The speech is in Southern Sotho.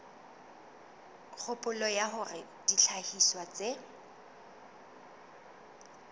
kgopolo ya hore dihlahiswa tse